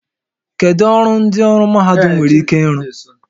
Kedu ọrụ ndị ọrụ mahadum nwere ike ịrụ?